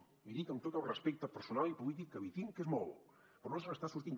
l’hi dic amb tot el respecte personal i polític que li tinc que és molt però no se n’està sortint